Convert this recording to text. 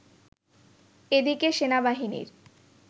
এদিকে সেনাবাহিনীর